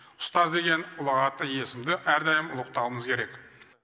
ұстаз деген ұлағатты есімді әрдайым ұлықтауымыз керек